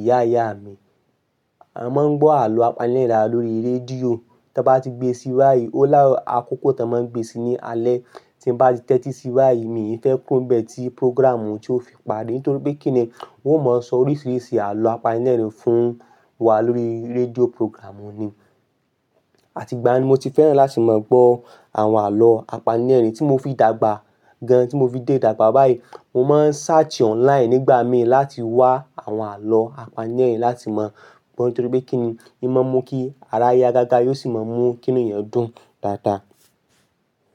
ìyá ìyá mi, a máa ń gbọ́ àlọ́ apanilẹ́rìn-ín lórí rédíò. Tí a bá ti gbé sí wáì, ó láàárọ̀ àkókò tan máa ń gbé sí ní alẹ́. Tí mo bá ti tẹ́tí sí wáì, mí ì fẹ́ ku ro n bẹ́ẹ̀ tí prógraàmù tí ó fi parí. Nítorí pé kíni, wọn ó mọ sọ oríṣiríṣi àlọ́ apanilẹ́rìn-ín fún wa lórí rédíò prógraàmù ni. Àti ìgbà yẹn ni mo ti fẹ́ràn láti máa gbọ́ àwọn àlọ́ apanilẹ́rìn-ín tí mo fi dàgbà gan. Tí mo fi dé dàgbà báyìí, mo máa ń search online nígbà míì láti wá àwọn àlọ́ apanilẹ́rìn-ín láti máa gbọ́. Nítorí pé kíni, ì máa ń mú kí ara yá gágá, yóò sì máa mú kí inú ẹ dún dáadáa.